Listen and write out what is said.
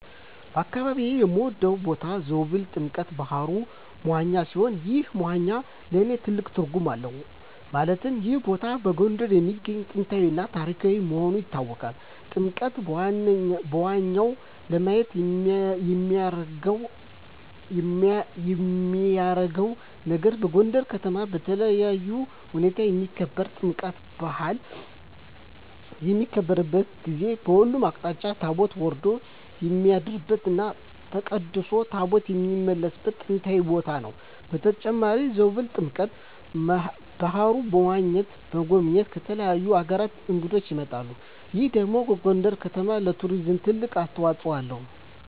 በአካባቢየ የምወደው ቦታ ዞብል ጥምቀተ ባህሩ (መዋኛ) ሲሆን ይህ መዋኛ ለእኔ ትልቅ ትርጉም አለው ማለትም ይህ ቦታ በጎንደር የሚገኝ ጥንታዊ እና ታሪካዊ መሆኑ ይታወቃል። ጥምቀተ መዋኛው ለየት የሚያረገው ነገር በጎንደር ከተማ በልዩ ሁኔታ የሚከበረው የጥምቀት በአል በሚከበርበት ጊዜ በሁሉም አቅጣጫ ታቦት ወርዶ የሚያድርበት እና ተቀድሶ ታቦታት የሚመለስበት ጥንታዊ ቦታ ነው። በተጨማሪም ዞብል ጥምቀተ በሀሩ (መዋኛው) ለመጎብኘት ከተለያዩ አገራት እንግዶች ይመጣሉ ይህ ደግሞ ለጎንደር ከተማ ለቱሪዝም ትልቅ አስተዋጽኦ አለው።